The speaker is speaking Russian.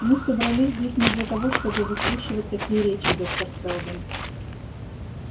мы собрались здесь не для того чтобы выслушивать такие речи доктор сэлдон